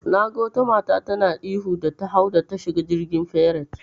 Naga wata mata tana ihu da ta hau da ta shiga jirgin fairet.